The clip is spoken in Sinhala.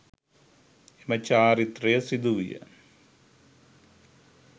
එම චාරිත්‍රය සිදු විය